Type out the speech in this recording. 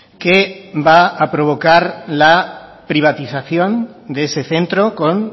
que va a provocar la privatización de ese centro con